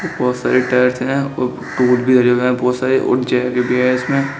बहुत सारी टाइल्स है भी हैं बहुत सारे और इसमें।